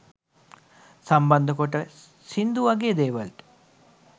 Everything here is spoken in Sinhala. සම්බන්ධ කොටස් සිංදු වගේ දේවලට